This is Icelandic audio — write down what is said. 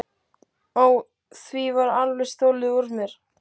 Ó, því var alveg stolið úr mér.